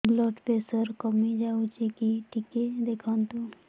blood pressure କମି ଯାଉଛି କି ଟିକେ ଦେଖନ୍ତୁ